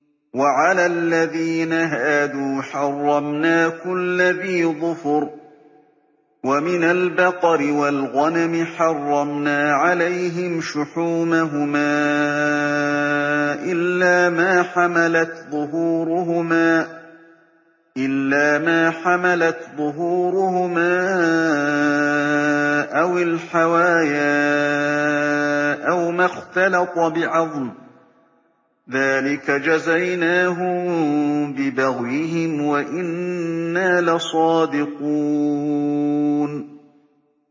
وَعَلَى الَّذِينَ هَادُوا حَرَّمْنَا كُلَّ ذِي ظُفُرٍ ۖ وَمِنَ الْبَقَرِ وَالْغَنَمِ حَرَّمْنَا عَلَيْهِمْ شُحُومَهُمَا إِلَّا مَا حَمَلَتْ ظُهُورُهُمَا أَوِ الْحَوَايَا أَوْ مَا اخْتَلَطَ بِعَظْمٍ ۚ ذَٰلِكَ جَزَيْنَاهُم بِبَغْيِهِمْ ۖ وَإِنَّا لَصَادِقُونَ